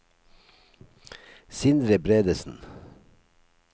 Sindre Bredesen